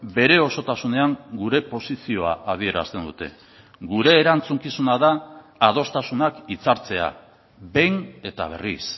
bere osotasunean gure posizioa adierazten dute gure erantzukizuna da adostasunak hitzartzea behin eta berriz